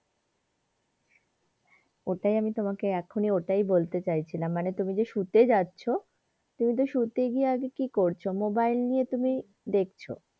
ওটাই আমি তোমাকে এখনই ওইটাই বলতে চাইছিলাম মানে তুমি যে শুতে যাচ্ছো তুমি তো শুতে গিয়ে আগে কি করছো mobile নিয়ে তুমি দেখছো।